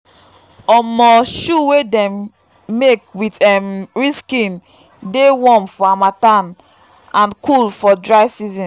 um shoe wey dem make with um real skin dey warm for harmattan and cool for dry season.